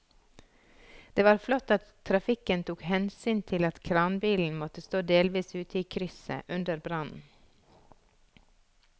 Det var flott at trafikken tok hensyn til at kranbilen måtte stå delvis ute i krysset under brannen.